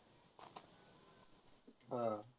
हा